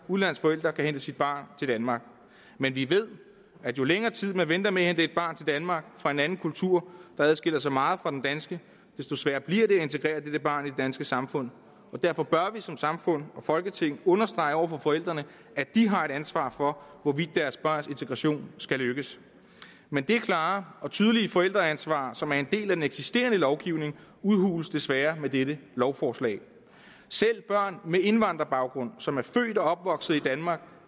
udenlandsk forælder kan hente sit barn til danmark men vi ved at jo længere tid man venter med at hente et barn til danmark fra en anden kultur der adskiller sig meget fra den danske desto sværere bliver det at integrere dette barn i det danske samfund og derfor bør vi som samfund og folketing understrege over for forældrene at de har et ansvar for hvorvidt deres børns integration skal lykkes men det klare og tydelige forældreansvar som er en del af den eksisterende lovgivning udhules desværre med dette lovforslag selv børn med indvandrerbaggrund som er født og opvokset i danmark